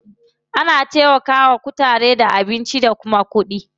Ana taimaka wa kutaren da abinci da kuma kuɗi.